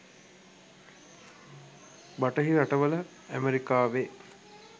බටහිර රටවල ඈමරිකාවෙ